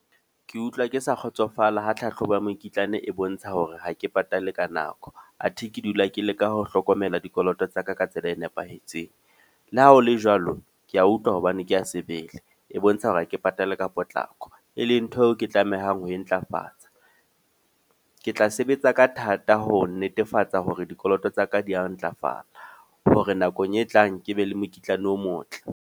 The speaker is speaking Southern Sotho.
Ke utlwa ke sa kgotsofala ha tlhahlobo ya mokitlane e bontsha hore ha ke patale ka nako. A the ke dula ke leka ho hlokomela dikoloto tsa ka ka tsela e nepahetseng. Le ha ho le jwalo, ke a utlwa hobane ke a sebele. E bontsha hore ha ke patale ka potlako. E leng ntho eo ke tlamehang ho e ntlafatsa. Ke tla sebetsa ka thata ho netefatsa hore dikoloto tsa ka di ya ho ntlafala. Hore nakong e tlang ke be le mokitlane o motle.